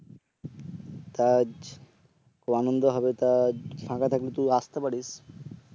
তা আজ খুব আনন্দ হবে তা আজ ফাঁকা থাকলে তুই আসতে পারিস